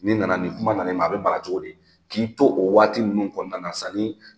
Ni nana ni kuma nani ma a be bala cogo di k'i to o waati nunnu kɔnɔna na